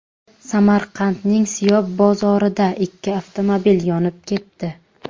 Samarqandning Siyob bozorida ikki avtomobil yonib ketdi.